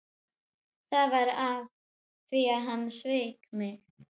Það var af því að hann sveik mig.